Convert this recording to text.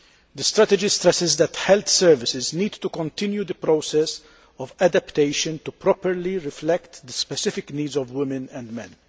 The strategy stresses that health services need to continue the process of adaptation to properly reflect the specific needs of women and men.